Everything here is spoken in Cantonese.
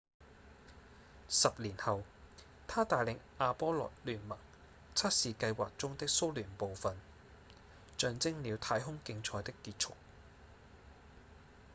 10年後他帶領阿波羅-聯盟測試計劃中的蘇聯部份象徵了太空競賽的結束